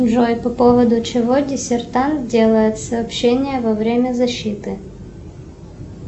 джой по поводу чего диссертант делает сообщение во время защиты